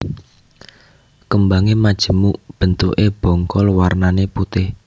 Kembange majemuk bentukke bongkol wernane putih